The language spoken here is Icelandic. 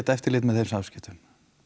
eftirlit með þeim samskiptum